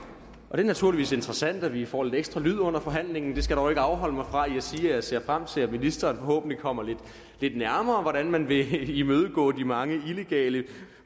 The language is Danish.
det er naturligvis interessant at vi får lidt ekstra lyd under forhandlingen det skal dog ikke afholde mig fra at jeg ser frem til at ministeren forhåbentlig kommer lidt nærmere ind man vil imødegå de mange illegale